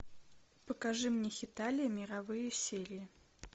покажи мне хеталия мировые серии